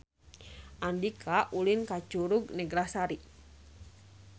Andika ulin ka Curug Neglasari